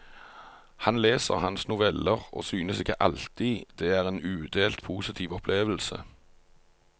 Han leser hans noveller og synes ikke alltid det er en udelt positiv opplevelse.